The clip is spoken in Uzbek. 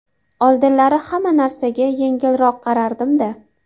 Oldinlari hamma narsaga yengilroq qarardim-da.